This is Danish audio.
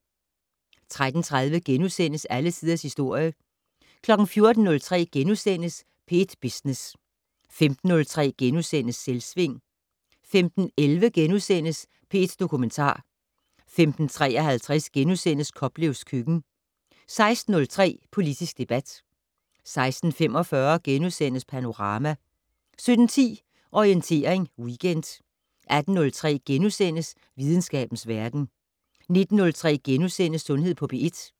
13:30: Alle Tiders Historie * 14:03: P1 Business * 15:03: Selvsving * 15:11: P1 Dokumentar * 15:53: Koplevs køkken * 16:03: Politisk debat 16:45: Panorama * 17:10: Orientering Weekend 18:03: Videnskabens Verden * 19:03: Sundhed på P1 *